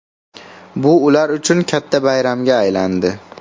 Bu ular uchun katta bayramga aylandi.